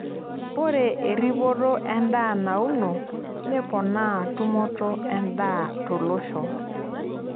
Ore erripoto endaa nauno neponaa tumoto endaa tolosho.